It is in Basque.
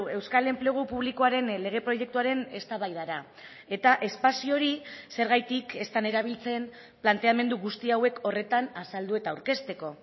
euskal enplegu publikoaren lege proiektuaren eztabaidara eta espazio hori zergatik ez den erabiltzen planteamendu guzti hauek horretan azaldu eta aurkezteko